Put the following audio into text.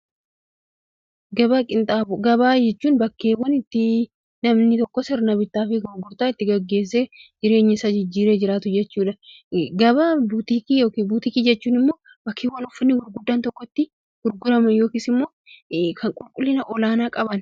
Gabaa qinxaaboo, Gabaa qinxaaboo jechuun iddoo namoonni sirna bittaa fi gurgurtaa itti gaggeessee jireenya isaa ittin jijjiiree jiraatu jechuudha. Gabaa butikii yookiin butikii jechuun immoo iddoo uffanni gurguddaan itti yookiin kan qulqullina olaanaa qaban itti gurguramanidha.